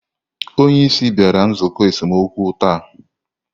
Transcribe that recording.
Onye isi bịara nzukọ esemokwu taa?